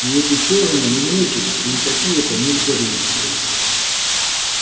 и эти чёрные не нечисть и никакие это не упыри